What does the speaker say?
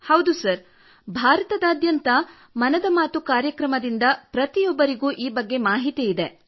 ಹೌದು ಸರ್ ಭಾರತದಾದ್ಯಂತ ಮನದ ಮಾತು ಕಾರ್ಯಕ್ರಮದಿಂದ ಪ್ರತಿಯೊಬ್ಬರಿಗೂ ಈ ಮಾಹಿತಿ ಇದೆ